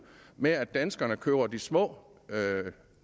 med at danskerne køber de små